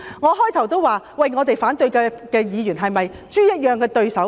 我最初已經說反對派議員是否豬一般的對手？